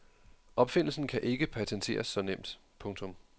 Opfindelsen kan ikke patenteres så nemt. punktum